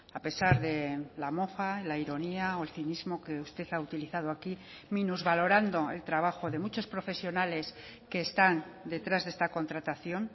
a pesar de la mofa la ironía o el cinismo que usted ha utilizado aquí minusvalorando el trabajo de muchos profesionales que están detrás de esta contratación